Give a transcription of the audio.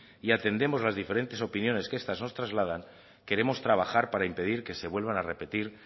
y atendemos las diferentes opiniones que estas nos trasladan queremos trabajar para impedir que se vuelvan a repetir